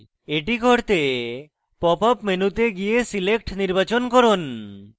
এটি করতে pop up মেনুতে গিয়ে select নির্বাচন করুন